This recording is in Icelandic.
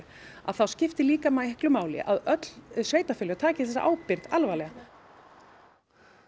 þá skiptir líka máli að öll sveitarfélög taki þessa ábyrgð alvarlega